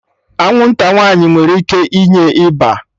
Anwụnta nwaanyị nwere ike inye ịba